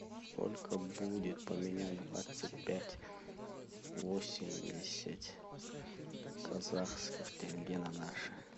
сколько будет поменять двадцать пять восемьдесят казахских тенге на наши